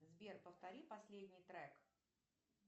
сбер повтори последний трек